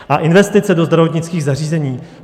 A investice do zdravotnických zařízení.